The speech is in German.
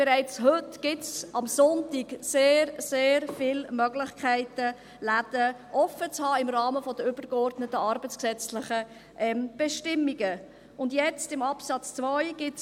Bereits heute gibt es am Sonntag sehr, sehr viele Möglichkeiten, Läden im Rahmen der übergeordneten arbeitsgesetzlichen Bestimmungen offen zu haben.